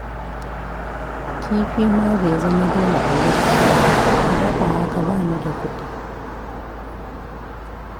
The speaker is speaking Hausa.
Kifi ma bai zama dole a girki ba, ku dafa haka ba ni da kuɗi